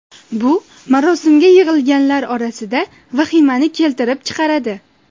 Bu marosimga yig‘ilganlar orasida vahimani keltirib chiqaradi.